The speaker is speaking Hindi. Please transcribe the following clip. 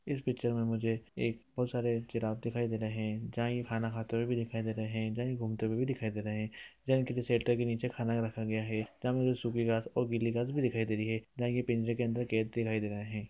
इस पिक्चर में मुझे एक बहुत सारे जिराफ दिखाई दे रहे हैं जहाँ ये खाना खाते हुए भी दिखाई दे रहे हैं जहाँ ये घूमते हुए भी दिखाई दे रहे हैं| जहाँ इनके शेल्टर के नीचे खाना रखा गया है जहाँ पे मुझे सुखी घास और गीली घास भी दिखाई भी दे रही है जहा ये पिंजरे के अंदर कैद दिखाई दे रहे हैं ।